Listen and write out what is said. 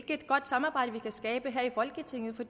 et godt samarbejde vi kan skabe her i folketinget for